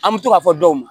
An bɛ to k'a fɔ dɔw ma